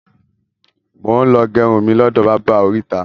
Mo ń lọ gẹrun mi lọ́dọ̀ báábà orita